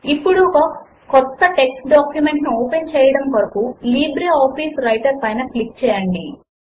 ఇప్పుడు ఒక క్రొత్త టెక్స్ట్ డాక్యుమెంట్ ను ఓపెన్ చేయడము కొరకు లిబ్రిఆఫిస్ వ్రైటర్ పైన క్లిక్ చేయండి